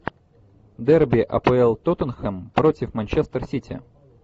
дерби апл тоттенхэм против манчестер сити